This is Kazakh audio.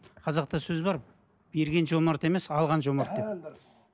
қазақта сөз бар берген жомарт емес алған жомарт деп дұрыс